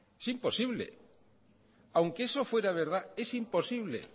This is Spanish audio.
es imposible aunque si fuera verdad es imposible